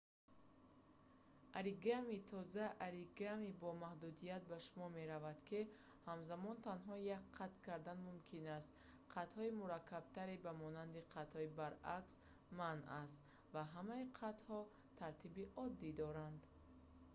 оригами тоза оригами бо маҳдудият ба шумор меравад ки ҳамзамон танҳо як қат кардан мумкин аст қатҳои мураккабтаре ба монанди қатҳои баръакс манъ аст ва ҳамаи қатҳо тартиби оддӣ доранд